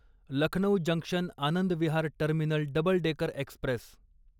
Lucknow junction Anand Vihar terminal double decker Express